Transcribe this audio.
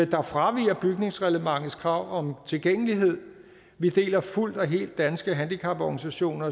der fraviger bygningsreglementets krav om tilgængelighed vi deler fuldt og helt danske handicaporganisationer